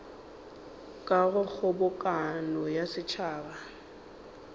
ka go kgobokano ya setšhaba